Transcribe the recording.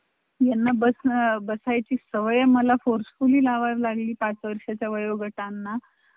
तुमचं देहू कडला एक photo लावलाय.